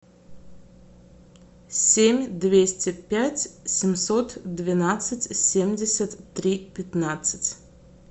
семь двести пять семьсот двенадцать семьдесят три пятнадцать